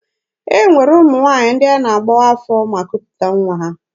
E nwere ụmụ nwaanyị ndị a na-agbawa afọ ma kuputa nwa ha.